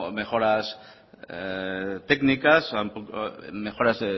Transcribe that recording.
mejoras técnicas mejoras